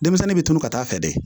Denmisɛnnin bɛ tunu ka taa fɛ dɛ